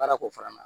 Baara ko fana na